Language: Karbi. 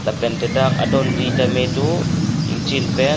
lapente dak adonri tame do ingchin pen.